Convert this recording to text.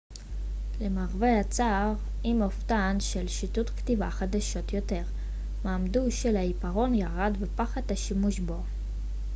למרבה הצער עם הופעתן של שיטות כתיבה חדשות יותר מעמדו של העיפרון ירד ופחת השימוש בו